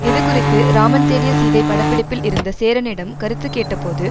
இதுகுறித்து ராமன் தேடிய சீதை பட பிடிப்பில் இருந்த சேரனிடம் கருத்து கேட்டபோது